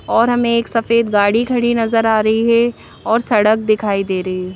और हमें एक सफेद गाड़ी खड़ी नजर आ रही है और सड़क दिखाई दे रही है।